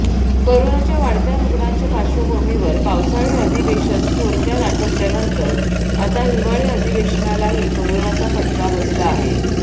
कोरोनाच्या वाढत्या रुग्णांच्या पार्श्वभूमीवर पावसाळी अधिवेशन थोडक्यात आटोपल्यानंतर आता हिवाळी अधिवेशनालाही कोरोनाचा फटका बसला आहे